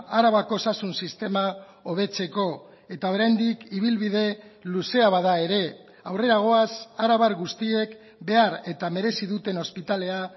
arabako osasun sistema hobetzeko eta oraindik ibilbide luzea bada ere aurrera goaz arabar guztiek behar eta merezi duten ospitalea